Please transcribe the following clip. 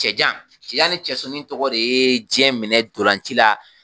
Cɛjan, cɛja ni surunnin tɔgɔ de ye diɲɛ minɛ dɔlanci la.